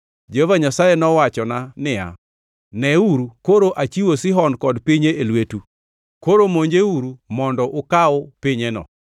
Jehova Nyasaye nowachona niya, “Neuru, koro achiwo Sihon kod pinye e lwetu, koro monjeuru mondo ukaw pinyeno.”